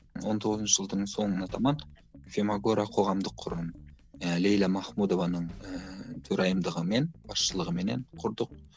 он тоғызыншы жылдың соңына таман фемогора қоғамдық қорын лейла махмудованың ыыы төрайымдығымен басшылығыменен құрдық